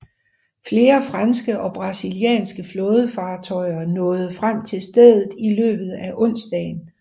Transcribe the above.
Flere franske og brasilianske flådefartøjer nåede frem til stedet i løbet af onsdagen